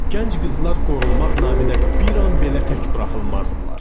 Gənc qızlar qorunmaq naminə bir an belə tək buraxılmazdılar.